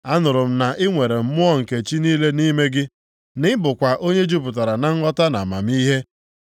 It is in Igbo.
Anụla m na i nwere mmụọ nke chi niile nʼime gị, na ị bụkwa onye jupụtara na nghọta na amamihe.